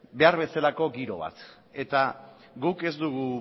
behar bezalako giro bat eta guk ez dugu